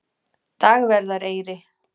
Dagverðareyri